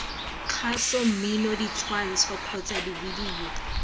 kgaso mmino ditshwantsho kgotsa divideyo